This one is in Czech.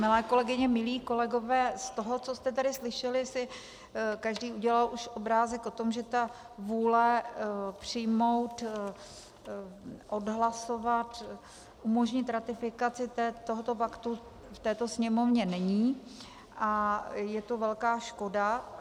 Milé kolegyně, milí kolegové, z toho, co jste tady slyšeli, si každý udělal už obrázek o tom, že ta vůle přijmout, odhlasovat, umožnit ratifikaci tohoto paktu v této Sněmovně není, a je to velká škoda.